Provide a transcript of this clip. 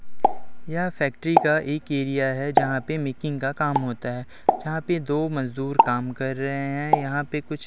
यह फैक्ट्री का एक एरिया है जहां पे मेकिंग का काम होता है जहां पर दो मजदूर काम कर रहे हैं यहां पे कुछ--